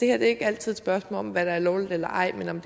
er ikke altid et spørgsmål om hvad der er lovligt eller ej men om